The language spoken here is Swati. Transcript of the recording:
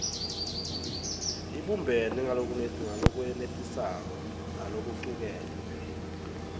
ibumbene ngalokwenetisako nalokucuketfwe